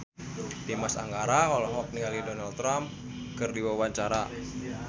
Dimas Anggara olohok ningali Donald Trump keur diwawancara